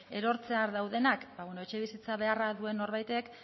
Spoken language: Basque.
erortzear daudenak bada bueno etxebizitza beharra duen norbaitek